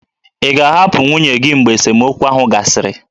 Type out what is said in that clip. Ị ga-ahapụ nwunye gị mgbe esemokwu ahụ gasịrị?